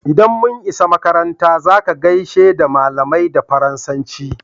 Idan mun isa makaranta" za ka gaishe da malamai da Faransanci!"